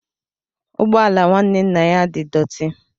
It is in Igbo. Ụgbọ ala nwanne nna ya di dọti.